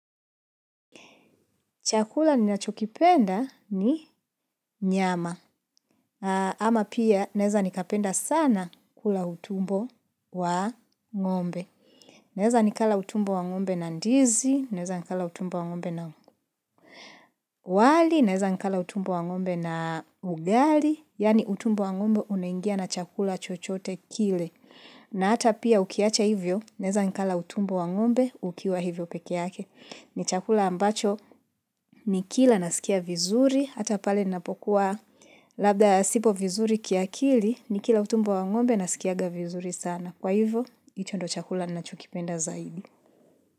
Chakula ninachokipenda ni nyama, ama pia naeza nikapenda sana kula utumbo wa ng'ombe. Naeza nikala utumbo wa ng'ombe na ndizi, naeza nikala utumbo wa ng'ombe na wali, naeza nikala utumbo wa ng'ombe na ugali, yaani utumbo wa ng'ombe unaingia na chakula chochote kile. Na hata pia ukiacha hivyo, naeza nikala utumbo wa ng'ombe ukiwa hivo peke yake. Ni chakula ambacho nikila nasikia vizuri, hata pale napokuwa labda sipo vizuri kiakili, nikila utumbo wa ng'ombe nasikianga vizuri sana. Kwa hivyo, hicho ndo chakula ninachokipenda zaidi.